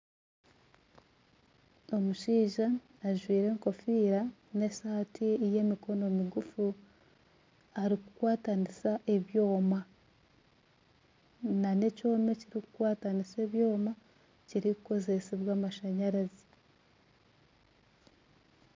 Omushaija ajwaire ekofiira n'esaati y'emikono miguufu arikukwatanisa ebyooma na n'ekyooma ekirikukwatanisa ebyooma kirikukozesibwa amashanyarazi.